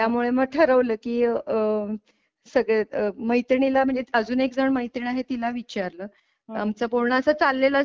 त्यामुळे मग ठरवलं की आह सगळ्या मैत्रिणी ला म्हणजे अजून एक जण मैत्रीण आहे तिला विचारलं आमचं बोलणं असं चाललेलं असतं.